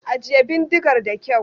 Ajiye bindigar da kyau!